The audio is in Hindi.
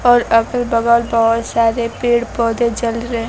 और अगल बगल बहुत सारे पेड़ पौधे जल रहे--